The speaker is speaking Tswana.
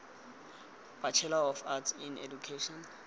bachelor of arts in education